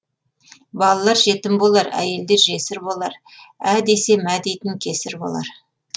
балалар жетім болар әйелдер жесір болар ә десе мә дейтін кесір болар